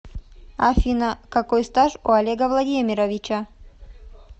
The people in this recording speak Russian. афина какой стаж у олега владимировича